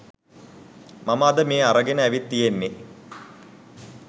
මම අද මේ අරගෙන ඇවිත් තියෙන්නෙ.